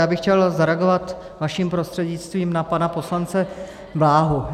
Já bych chtěl zareagovat vaším prostřednictvím na pana poslance Bláhu.